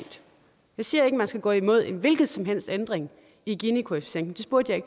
jeg siger ikke man skal gå imod en hvilken som helst ændring i ginikoefficienten det spurgte